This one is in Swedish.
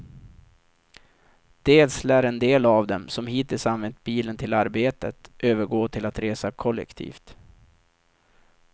Dels lär en del av dem, som hittills använt bilen till arbetet, övergå till att resa kollektivt.